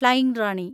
flying Rani